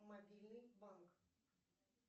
мобильный банк